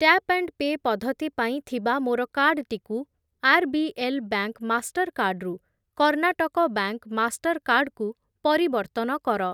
Tap and pay ପଦ୍ଧତି ପାଇଁ ଥିବା ମୋର କାର୍ଡ୍‌ଟିକୁ ଆର୍‌ବିଏଲ୍‌ ବ୍ୟାଙ୍କ୍‌ ମାଷ୍ଟର୍‌କାର୍ଡ଼୍ ରୁ କର୍ଣ୍ଣାଟକ ବ୍ୟାଙ୍କ୍‌ ମାଷ୍ଟର୍‌କାର୍ଡ଼୍ କୁ ପରିବର୍ତ୍ତନ କର।